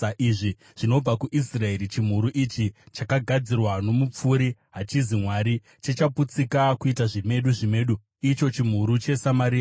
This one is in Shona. Izvi zvinobva kuIsraeri! Chimhuru ichi, chakagadzirwa nomupfuri, hachisi Mwari. Chichaputsika kuita zvimedu zvimedu, icho chimhuru cheSamaria.